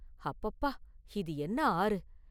அப்பப்பா இது என்ன ஆறு?